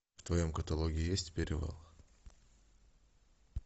в твоем каталоге есть перевал